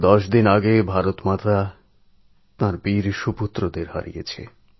দশ দিন আগে ভারতমাতা তাঁর বীর সুসন্তানদের হারিয়েছেন